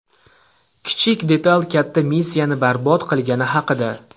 Kichik detal katta missiyani barbod qilgani haqida.